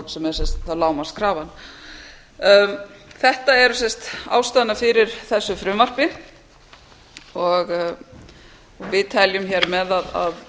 sem er þá lágmarkskrafan þetta eru sem sagt ástæðurnar fyrir þessu frumvarpi og við teljum hér með að við